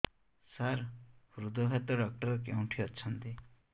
ସାର ହୃଦଘାତ ଡକ୍ଟର କେଉଁଠି ଅଛନ୍ତି